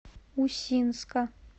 усинска